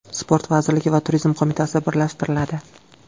Sport vazirligi va Turizm qo‘mitasi birlashtiriladi.